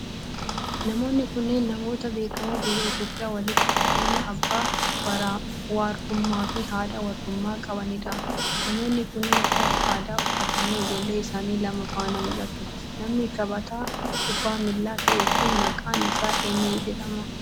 Namoonni kunneen, namoota beekamoo biyya Itoophiyaa walitti dhufeenya abbaa warrummaa fi haadha warrummaa qabanii dha. Namoonni kunneen, uffata aadaa uffatanii ijoollee isaanii lama faana mul'atu. Namni taphataa kubbaa miilaa ta'e kun, maqaan isaa eenyu jedhama?